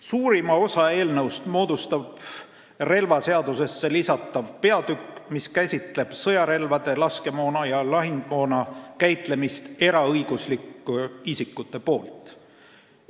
Suurima osa eelnõust moodustab relvaseadusesse lisatav peatükk, mis käsitleb sõjarelvade, laskemoona ja lahingumoona käitlemist eraõiguslike isikute poolt.